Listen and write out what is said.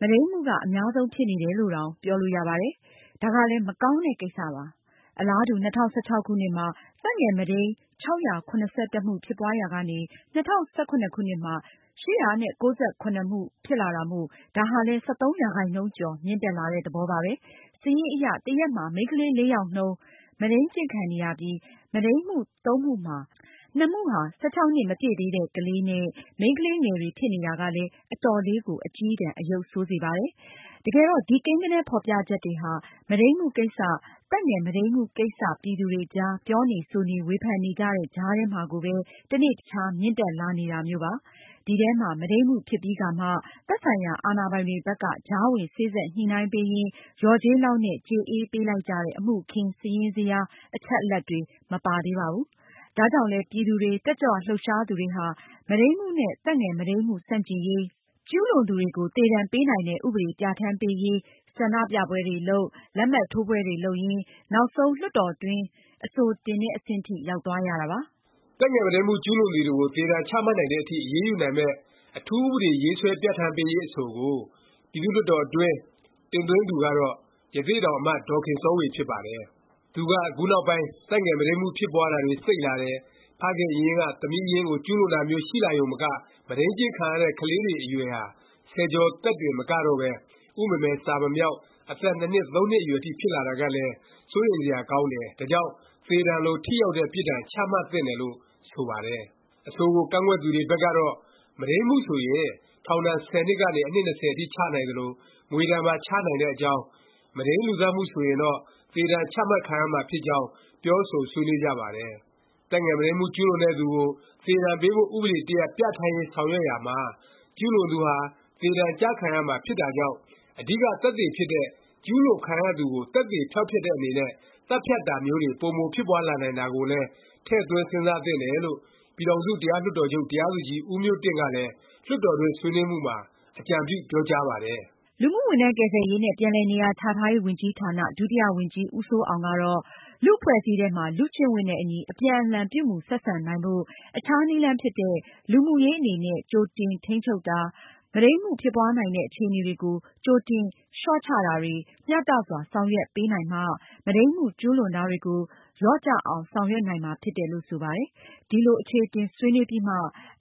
မုဒိန်းမှုက အများဆုံးဖြစ်နေတယ်လို့တောင် ပြောလို့ရပါတယ်။ ဒါကလည်း မကောင်းတဲ့ ကိစ္စပါ။ အလားတူ ၂၀၁၆ ခုနှစ်မှာ သက်ငယ်မုဒိန်း ၆၇၁ မှု ဖြစ်ပွားရာကနေ ၂၀၁၇ ခုနှစ်မှာ ၈၉၇ မှု ဖြစ်လာတာမို့ ဒါဟာလည်း ၁၃ ရာခိုင်နှုန်းကျော် မြင့်တက်လာတဲ့ သဘောပါပဲ။ စာရင်းအရ တရက်မှာ မိန်းကလေး ၄ ယောက်နှုန်း မုဒိန်းကျင့် ခံနေရပြီး မုဒိန်းမှု ၃ မှုမှာ ၂ မှုဟာ ၁၆ နှစ် မပြည့်သေးတဲ့ ကလေးနဲ့ မိန်းကလေးငယ်တွေ ဖြစ်နေတာကလည်း အတော်လေးကို အကျည်းတန် အရုပ်ဆိုးစေပါတယ်။ တကယ်တော့ ဒီ ကိန်းဂဏန်း ဖော်ပြချက်တွေဟာ မုဒိန်းမှုကိစ္စ၊ သက်ငယ် မုဒိန်းမှုကိစ္စ ပြည်သူတွေအကြား ပြောနေ ဆိုနေ၊ ဝေဖန်နေကြတဲ့ ကြားထဲမှာကိုပဲ တနေ့တခြား မြင့်တက်လာနေတာ မျိုးပါ။ ဒီထဲမှာ မုဒိန်းမှု ဖြစ်ပြီးကာမှ သက်ဆိုင်ရာ အာဏာပိုင်တွေဘက်က ကြားဝင် စေ့စပ်ညှိနှိုင်းပေးရင်း လျော်ကြေးလောက်နဲ့ ကြေအေးပေးလိုက်ကြတဲ့ အမှုအခင်း စာရင်းဇယား အချက်အလက်တွေ မပါသေးပါဘူး။ ဒါကြောင့်လဲ ပြည်သူတွေ ၊ တက်ကြွလှုပ်ရှားသူတွေဟာ မုဒိန်းမှုနဲ့ သက်ငယ်မုဒိန်းမှု ဆန့်ကျင်ရေး၊ ကျူးလွန်သူတွေကို သေဒါဏ်ပေးနိုင်တဲ့ ဥပဒေ ပြဌာန်းပေးရေး ဆန္ဒပြပွဲတွေလုပ်၊ လက်မှတ်ထိုးပွဲတွေ လုပ်ရင်း နောက်ဆုံး လွှတ်တော်တွင်း အဆိုတင်တဲ့ အဆင့်ထိ ရောက်သွားရတာပါ။ သက်ငယ်မုဒိမ်းမှု ကျူးလွန်သူတွေကို သေဒဏ်ချမှတ်နိုင်တဲ့အထိ အရေးယူနိုင်မယ့် အထူးဥပဒေ ရေးဆွဲပြဋ္ဌာန်းပေးရေး အဆိုကို ပြည်သူ့လွှတ်တော်တွင်း တင်သွင်းသူကတော့ ရသေ့တောင် အမတ် ဒေါ်ခင်စောေ၀ ဖြစ်ပါတယ်။ သူက ခုနောက်ပိုင်း သက်ငယ် မုဒိန်းမှု ဖြစ်ပွားတာတွေ စိပ်လာတယ်၊ ဖခင်အရင်းက သမီးအရင်းကို ကျူးလွန်တာမျိုး ရှိလာရုံမက မုဒိန်းကျင့်ခံရတဲ့ ကလေးတွေ အရွယ်ဟာ ဆယ်ကျော်သက်တွေတင် မကတော့ပဲ ဥမမယ် စာမမြောက် အသက် ၂ နှစ် ၃ နှစ်အရွယ်ထိ ဖြစ်လာတာကလည်း စိုးရိမ်စရာ ကောင်းတယ်၊ ဒါကြောင့် သေဒါဏ်လို ထိရောက်တဲ့ ပြစ်ဒါဏ် ချသင့်တယ်လို့ ဆိုပါတယ်။ အဆိုကို ကန့်ကွက်သူတွေ ဘက်ကတော့ မုဒိန်းမှုဆိုရင် ထောင်ဒါဏ် ၁၀ နှစ်ကနေ အနှစ် ၂၀ အထိ ချနိုင်သလို၊ ငွေဒါဏ်ပါ ချနိုင်တဲ့အကြောင်း၊ မုဒိန်း လူသတ်မှု ဆိုရင်တော့ သေဒါဏ် ချမှတ်ခံရမှာ ဖြစ်ကြောင်း ပြောဆိုဆွေးနွေးကြပါတယ်။ သက်ငယ်မုဒိမ်းမှု ကျုးလွန်တဲ့သူကို သေဒဏ်ပေးဖို့ ဥပဒေတရပ် ပြဋ္ဌာန်းရေးဆောင်ရွက်ရာမှာ ကျုးလွန်သူဟာ သေဒဏ်ကျခံရမှာ ဖြစ်တာကြောင့် အဓိကသက်သေဖြစ်တဲ့ ကျူးလွန်ခံရသူကို သက်သေဖျောက်တဲ့အနေနဲ့ သတ်ဖြတ်တာမျိုးတွေ ပိုမိုဖြစ်ပွားလာနိုင်တာကိုလည်း ထည့်သွင်းစဉ်းစားသင့်တယ်လို့ ပြည်ထောင်စုတရားလွှတ်တော်ချုပ် တရားသူကြီး ဦးမျိုးတင့် ကလည်း လွှတ်တော်တွင်း ဆွေးနွေးမှုမှာ အကြံပြုပြောကြားပါတယ်။ လူမှုဝန်ထမ်းကယ်ဆယ်ရေးနှင့် ပြန်လည်နေရာချထားရေးဝန်ကြီးဌာန ဒုတိယဝန်ကြီး ဦးစိုးအောင်ကတော့လူ့အဖွဲ့အစည်းထဲမှာ လူ့ကျင့်ဝတ်နဲ့အညီ အပြန်အလှန်ပြုမူဆက်ဆံနိုင်ဖို့ အခြားနည်းလမ်းဖြစ်တဲ့ လူမှုရေးအနေနဲ့ ကြိုတင်ထိန်းချုပ်တာ၊ မုဒိမ်းမှုဖြစ်ပွားနိုင်တဲ့ အခြေအနေတွေကို ကြိုတင်လျှော့ချတာတွေ မျှတစွာဆောင်ရွက်ပေးနိုင်မှ မုဒိမ်းမှုကျူးလွန်တာတွေကို လျော့ကျအောင် ဆောင်ရွက်နိုင်မှာဖြစ်တယ်လို့ ဆိုပါတယ်။ ဒီလို အခြေအတင် ဆွေးနွေးပြီးမှ